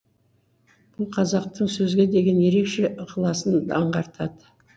бұл қазақтың сөзге деген ерекше ықыласын аңғартады